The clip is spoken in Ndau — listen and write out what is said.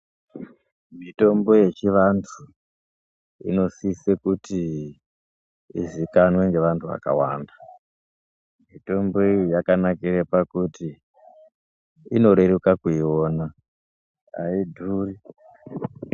Mitombo yechivantu inosise kuti izikanwe nevantu vakawanda. Mitombo iyi yakanakira pakuti inoreruka kuiona haidhuri.